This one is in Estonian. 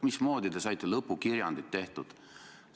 Mismoodi te saite lõpukirjandi tehtud?